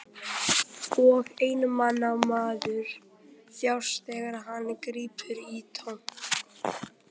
Og einmana maður þjáist þegar hann grípur í tómt.